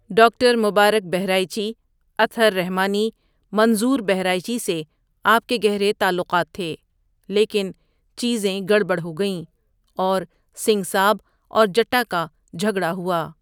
Doctor Mubarak Bahraichi, Athar Rahmani, Manzoor Bahraichi سے آپکے گہرے تعلوقات تھے لیکن چیزیں گڑبڑ ہوگئیں، اور سنگھ ساب اور جٹا کا جھگڑا ہوا۔